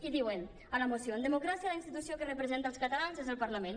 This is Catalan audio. i diuen a la moció en democràcia la institució que representa els catalans és el parlament